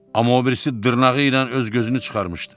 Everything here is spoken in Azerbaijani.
Amma obirisi dırnağıyla öz gözünü çıxarmışdı.